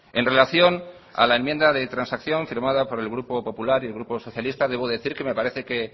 en relación a la enmienda de transacción firmada por el grupo popular y grupo socialistas debo decir que me parece que